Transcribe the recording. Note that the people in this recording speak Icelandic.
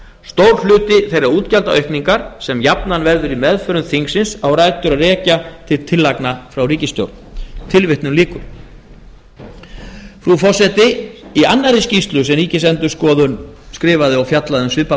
stór hluti þeirra útgjaldaaukningar sem jafnan verður í meðförum þingsins á rætur að rekja til tillagna frá ríkisstjórn tilvitnun lýkur frú forseti í annarri skýrslu sem ríkisendurskoðun skrifaði og fjallaði um svipað